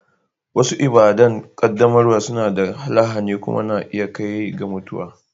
Wasu ibada'n qaddamarwa suna da lahani kuma na iya kai ga mutuwa.